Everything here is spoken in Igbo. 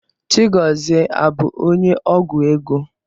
Chigọzie abụ onye ọgwụ ego?